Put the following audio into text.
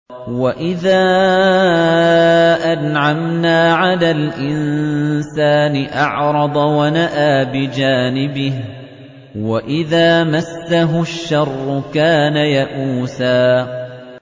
وَإِذَا أَنْعَمْنَا عَلَى الْإِنسَانِ أَعْرَضَ وَنَأَىٰ بِجَانِبِهِ ۖ وَإِذَا مَسَّهُ الشَّرُّ كَانَ يَئُوسًا